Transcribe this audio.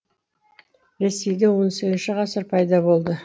ресейде он сегізінші ғасыр пайда болды